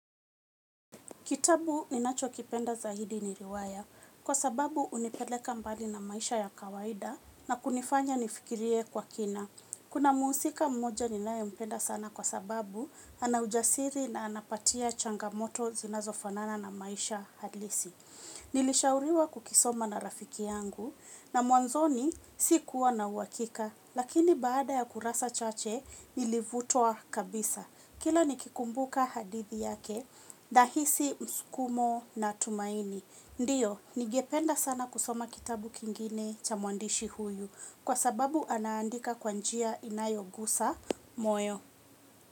Kitabu ninacho kipenda zaidi ni riwaya kwa sababu hunipeleka mbali na maisha ya kawaida na kunifanya nifikirie kwa kina. Kuna mhusika mmoja ninaye mpenda sana kwa sababu ana ujasiri na anapatia changamoto zinazo fanana na maisha halisi. Nilishauriwa kukisoma na rafiki yangu na mwanzoni si kuwa na uhakika lakini baada ya kurasa chache nilivutwa kabisa. Kila nikikumbuka hadithi yake, nahisi msukumo na tumaini. Ndiyo, ningependa sana kusoma kitabu kingine cha mwandishi huyu kwa sababu anaandika kwa njia inayogusa moyo.